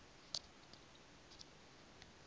u dzula vha tshi ita